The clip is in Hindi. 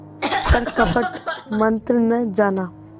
पर कपट मन्त्र न जाना